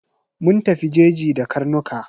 Mun tafi jeji da karnuka.